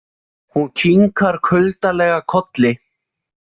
Hún kinkar kuldalega kolli.